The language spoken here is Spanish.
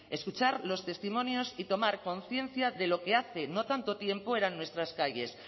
escuchar los testimonios y tomar conciencia de lo que hace no tanto tiempo eran nuestras calles